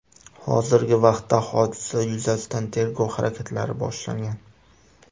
Hozirgi vaqtda hodisa yuzasidan tergov harakatlari boshlangan.